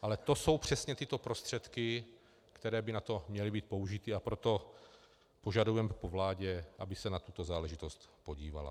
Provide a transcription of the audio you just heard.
Ale to jsou přesně tyto prostředky, které by na to měly být použity, a proto požadujeme po vládě, aby se na tuto záležitost podívala.